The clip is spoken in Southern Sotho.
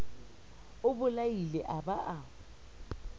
o bolaile a ba a